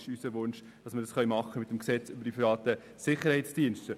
Unser Wunsch ist es, dass wir dies mit dem SDPG machen können.